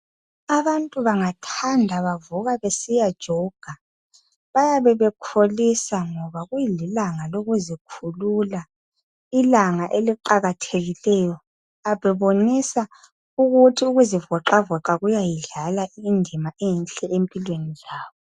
Abantu bangathanda bavuka besiyajoga. Bayabe bekholisa ngoba kulilanga lokuzikhulula, ilanga eliqakathekileyo bebonisa ukuthi ukuzivoxavoxa kuyayidlala indima enhle empilweni zabo